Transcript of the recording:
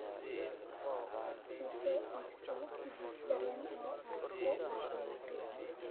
I soo iibso tigidh tareen oo aad ku aado nairobi